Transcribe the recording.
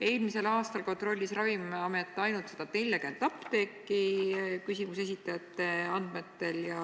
Eelmisel aastal kontrollis Ravimiamet küsimuse esitajate andmetel ainult 140 apteeki.